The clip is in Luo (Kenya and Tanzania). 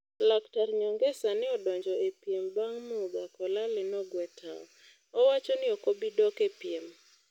Laktar Nyongesa ne odonjo e piem bang' Muga Kolale nogwe tao. Owacho ni okobi dok e piem.